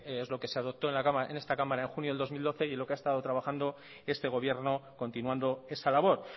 es lo que se adoptó en esta cámara en junio de dos mil doce y en lo que ha estado trabajando este gobierno continuando esa labor